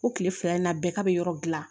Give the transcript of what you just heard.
O kile fila in na bɛɛ ka be yɔrɔ gilan